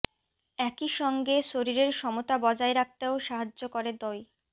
একই সঙ্গে শরীরের সমতা বজায় রাখতেও সাহয্য করে দই